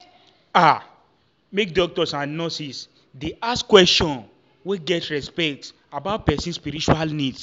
ah make doctors and and nurses dey ask questions wey get respect about person spiritual needs.